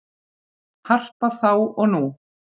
Harpa þá og nú